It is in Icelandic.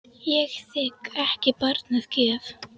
Ég þigg ekki barn að gjöf.